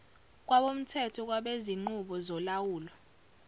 kwabomthetho kwabezinqubo zolawulo